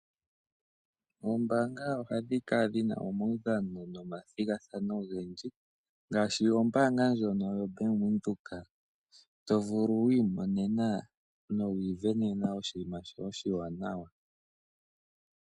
Oombanga ohadhi kala dhina omaudhano nomathigathano ogendji. Ngaashi ombanga ndjono yoBank Windhoek. To vulu wi imonene nowi ivenena oshinima shoye oshiwanawa.